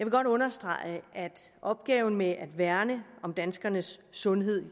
godt understrege at opgaven med at værne om danskernes sundhed